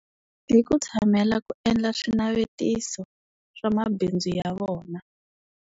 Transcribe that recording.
Hi ku tshamela ku endla swinavetiso swa mabindzu ya vona.